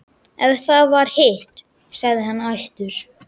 Ef það var hitt, sagði hann æstur: